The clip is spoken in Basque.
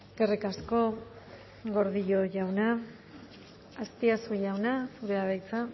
eskerrik asko gordillo jauna azpiazu jauna zurea da hitza